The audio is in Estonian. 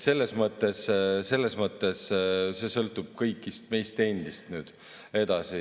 Selles mõttes sõltub see kõigist meist endist.